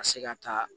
Ka se ka taa